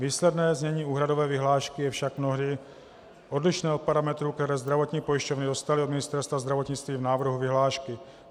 Výsledné znění úhradové vyhlášky je však mnohdy odlišné od parametrů, které zdravotní pojišťovny dostaly od Ministerstva zdravotnictví v návrhu vyhlášky.